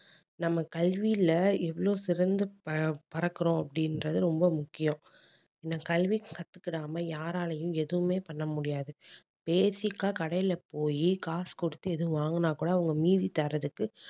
நம்ம கல்வியில எவ்வளவு சிறந்த ப~ பறக்கறோம் அப்படின்றது ரொம்ப முக்கியம் ஏன்னா கல்வி கத்துக்கிடாம யாராலையும் எதுவுமே பண்ண முடியாது basic அ கடையில போயி காசு கொடுத்து எதுவும் வாங்குனா கூட அவங்க மீதி தர்றதுக்கு